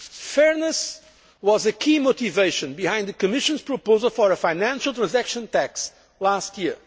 shared. Fairness was a key motivation behind the Commission's proposal for a financial transaction tax last